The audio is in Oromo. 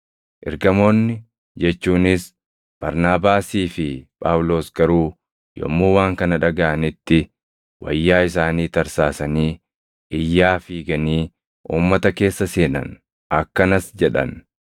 Ergamoonni jechuunis Barnaabaasii fi Phaawulos garuu yommuu waan kana dhagaʼanitti wayyaa isaanii tarsaasanii iyyaa fiiganii uummata keessa seenan; akkanas jedhan;